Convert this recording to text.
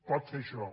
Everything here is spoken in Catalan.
pot fer això